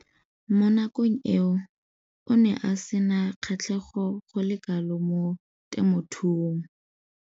Mo nakong eo o ne a sena kgatlhego go le kalo mo temothuong.